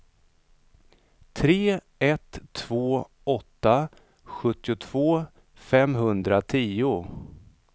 tre ett två åtta sjuttiotvå femhundratio